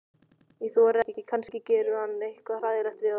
Ég þori ekki, kannski gerir hann eitthvað hræðilegt við okkur.